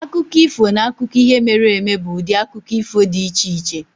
Akụkọ ifo na akụkọ ihe mere eme bụ ụdị akụkọ ifo dị iche-iche.